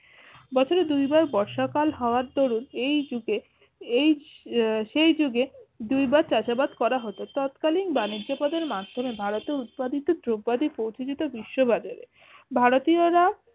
বছরে দুই বার বর্ষাকাল হওয়ার দরুন এই যুগে এই আহ সেই যুগে দুই বার চাষাবাদ করা হতো তৎকালীন বাণিজ্য পদের মাঝখানে ভারতে উৎপাদিত দ্রব্যাদি পোঁছে যেত বিশ্ব বাজারে ভারতীয়রা